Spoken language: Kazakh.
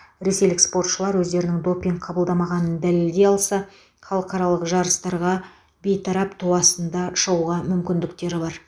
ресейлік спортшылар өздерінің допинг қабылдамағанын дәлелдей алса халықаралық жарыстарға бейтарап ту астында шығуға мүмкіндіктері бар